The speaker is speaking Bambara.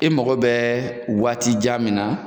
E mako bɛ waati jan min na